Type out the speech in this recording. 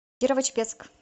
кирово чепецк